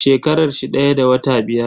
Shekarar shi daya da wata biyar.